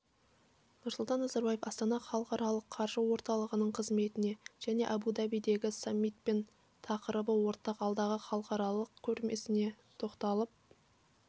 нұрсұлтан назарбаев астана халықаралық қаржы орталығының қызметіне және абу-дабидегі саммитпен тақырыбы ортақ алдағы халықаралық көрмесіне тоқталып